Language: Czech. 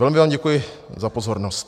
Velmi vám děkuji za pozornost.